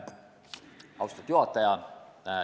Austatud juhataja!